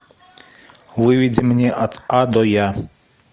выведи мне от а до я